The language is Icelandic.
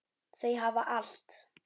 Þau hafa allt.